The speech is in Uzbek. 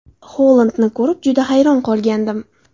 Holandni ko‘rib, juda hayron qolgandim.